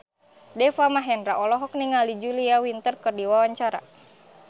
Deva Mahendra olohok ningali Julia Winter keur diwawancara